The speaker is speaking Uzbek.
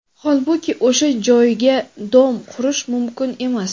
Holbuki, o‘sha joyga "dom" qurish mumkin emas.